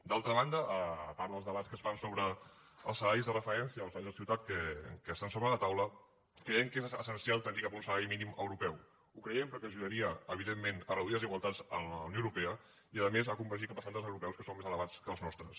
d’altra banda a part dels debats que es fan sobre els salaris de referència o els salaris de ciutat que estan sobre la taula creiem que és essencial tendir cap un salari mínim europeu ho creiem perquè ajudaria evidentment a reduir desigualtats en la unió europea i a més a convergir cap a estàndards europeus que són més elevats que els nostres